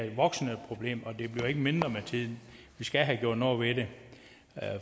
et voksende problem og det bliver ikke mindre med tiden vi skal have gjort noget ved det